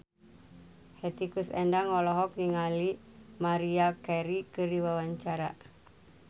Hetty Koes Endang olohok ningali Maria Carey keur diwawancara